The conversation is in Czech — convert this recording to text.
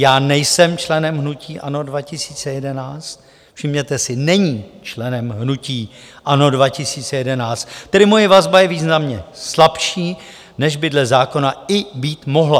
"Já nejsem členem hnutí ANO 2011" - všimněte si, není členem hnutí ANO 2011 - "tedy moje vazba je významně slabší, než by dle zákona i být mohla.